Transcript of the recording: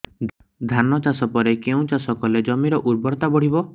ଧାନ ଚାଷ ପରେ କେଉଁ ଚାଷ କଲେ ଜମିର ଉର୍ବରତା ବଢିବ